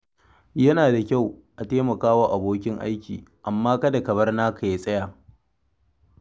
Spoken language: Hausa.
Yana da kyau a taimaka wa abokin aiki, amma kada ka bar naka ya tsaya.